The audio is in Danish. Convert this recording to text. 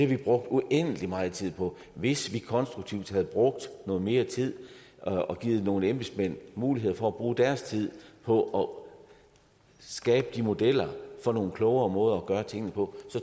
vi brugt uendelig meget tid på hvis vi konstruktivt havde brugt noget mere tid og givet nogle embedsmænd mulighed for at bruge deres tid på at skabe modeller for nogle klogere måder at gøre tingene på